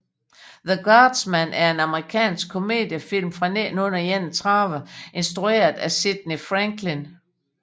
The Guardsman er en amerikansk komediefilm fra 1931 instrueret af Sidney Franklin